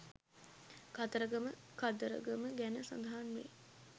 කතරගම කදරගම ගැන සඳහන්වේ.